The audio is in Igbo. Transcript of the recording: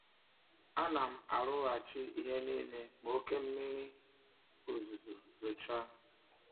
Ánám arụghachị ihe nílé ma oké mmiri ozuzo zochaa